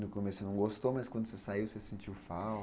No começo você não gostou, mas quando você saiu, você sentiu falta?